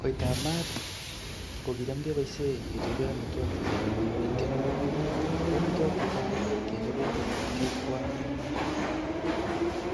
Koitab maat, ko kicham keboisie kechope amitwogik chechang ing keny. Ko amitwogik che tai, kechobe ko kicham kekwonye kimyet.